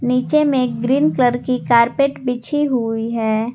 नीचे में green colour की कार्पेट बिछी हुई है।